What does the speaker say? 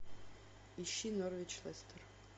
ищи норвич лестер